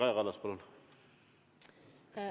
Kaja Kallas, palun!